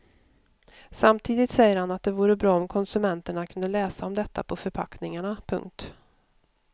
Samtidigt säger han att det vore bra om konsumenterna kunde läsa om detta på förpackningarna. punkt